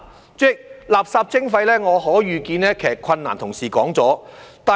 主席，就垃圾徵費可以遇見的困難，同事已說了。